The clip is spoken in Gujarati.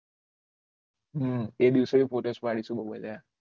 હમમ એ દિવસે પોતે ખોલેલા